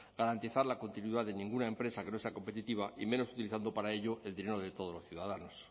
garantizar la continuidad de ninguna empresa que no sea competitiva y menos utilizando para ello el dinero de todos los ciudadanos